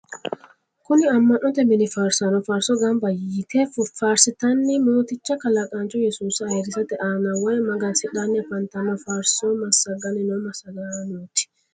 kuni ama'note mini faarisaano faarso gamba yite faarsateenni mooticha kalaqaancho yesuusa ayirisate aana woyi magansidhanni afantanno faarso massaganni noo massagaanoti.